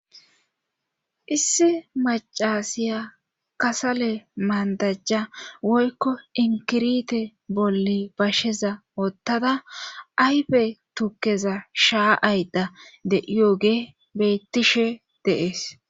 Issi macasiya kasale maandajja woykko inkirite bolli basheza wottada ayfe tukeza shaaayda de'iyoge bettishe deees.